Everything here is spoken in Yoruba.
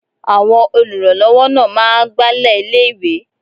Àwọn olùrànlọ́wọ́ náà máa ń Agbálẹ̀ ilé ìwé.